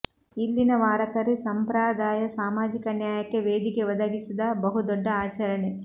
ಇಲ್ಲಿನ ವಾರಕರಿ ಸಂಪ್ರಾದಾಯ ಸಾಮಾಜಿಕ ನ್ಯಾಯಕ್ಕೆ ವೇದಿಕೆ ಒದಗಿಸಿದ ಬಹುದೊಡ್ಡ ಆಚರಣೆ